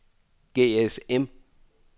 GSM